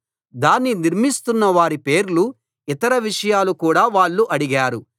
దాన్ని నిర్మిస్తున్న వారి పేర్లు ఇతర విషయాలు కూడా వాళ్ళు అడిగారు